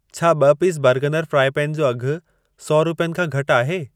छा ॿ piece Bergner fry pan जो अघि सौ रुपियनि खां घटि आहे?